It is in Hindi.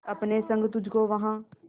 अपने संग तुझको वहां